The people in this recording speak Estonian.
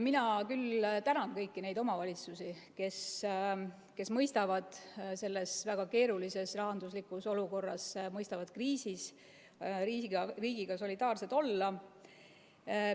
Mina küll tänan kõiki neid omavalitsusi, kes mõistavad selles väga keerulises rahanduslikus olukorras, kriisi ajal riigiga solidaarsed olla.